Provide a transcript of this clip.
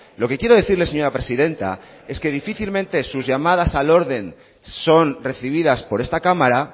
lo que quiero decirle señora presidenta es que difícilmente sus llamadas al orden son recibidas por esta cámara